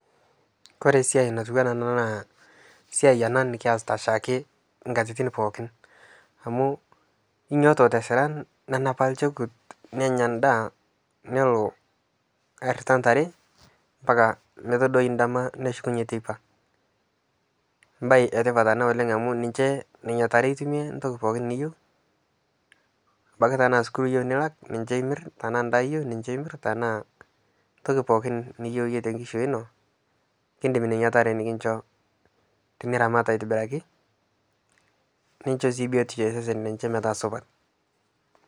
kore siai natuwana ana naa siai anaa nikiasita shaake nkatitin pookin amu inyooto tasiran nenapa lchokut nenya ndaa nelo airita ntare mpaka metodooi ndama neshukunye teipa mbai etipat ana oleng ana amu ninshe nenia tare itumie ntoki pookin niyeu abaki tanaa sukuul iyeu nilak ninshe imir tanaa ndaa iyeu ninshe imir tanaa ntoki pookin niyeu yie tenkishui inoo kindim nenia taree nikinsho tiniram aitibiraki ninsho sii biotisho ee sesen lenshe metaa supat